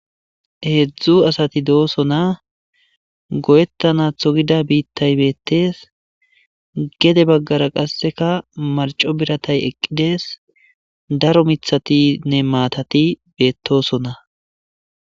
Heedzdzu asati do7osona goyettana tho gida biittay beettes gede baggara qasseka marco biratay eqqides daro mithatinne maatati beettosona.